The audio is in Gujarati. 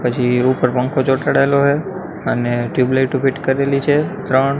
પછી ઉપર પંખો ચોટાડેલો હે અને ટ્યુબલાઇટો ફિટ કરેલી છે ત્રણ.